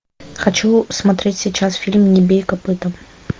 хочу смотреть сейчас фильм не бей копытом